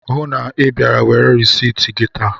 Hụụ na Ị bịara were risit gị taa!